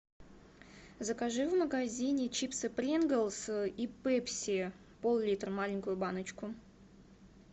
закажи в магазине чипсы принглс и пепси поллитра маленькую баночку